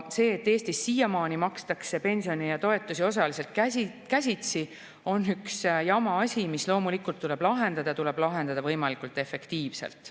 See, et Eestis siiamaani makstakse pensione ja toetusi osaliselt käsitsi, on üks jama asi, mis loomulikult tuleb lahendada, ja see tuleb lahendada võimalikult efektiivselt.